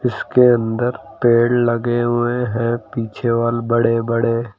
इसके अंदर पेड़ लगे हुए हैं पीछे वाले बड़े बड़े।